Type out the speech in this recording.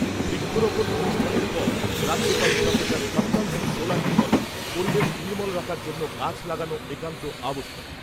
বৃক্ষরোপন অনুষ্ঠানের পর রাজ্যপাল প্রফেসর কাপ্তান সিং সোলাঙ্কি বলেন , পরিবেশ নির্মল রাখার জন্য গাছ লাগানো একান্ত আবশ্যক ।